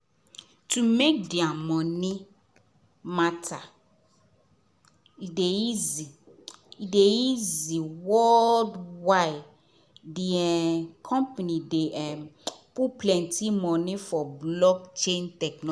to make their moni matter dey easy dey easy world wide the company dey put moni for block chain